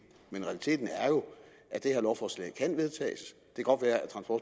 men realiteten er jo at det her lovforslag kan vedtages